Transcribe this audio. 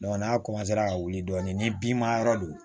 n'a ka wuli dɔɔnin ni binma yɔrɔ do